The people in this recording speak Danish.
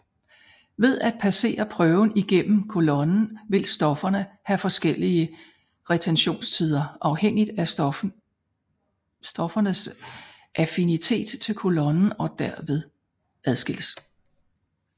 Ved at passere prøven igennem kolonnen vil stofferne have forskellige retentionstider afhængigt af stoffernes affinitet til kolonnen og derved adskilles